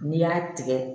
N'i y'a tigɛ